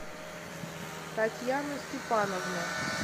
татьяна степановна